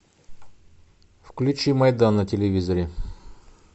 включи майдан на телевизоре